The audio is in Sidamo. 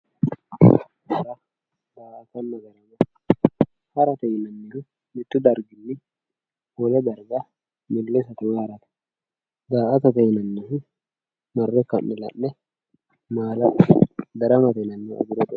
hara daa''attonna darama harate yinannihu mittu darginni wole darga harate woyi millisate daa''atate yinannihu marre ka'ne la'ne maala'late daramate yinannihu agure xooqate.